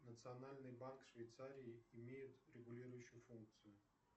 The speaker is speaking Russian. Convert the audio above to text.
национальный банк швейцарии имеет регулирующую функцию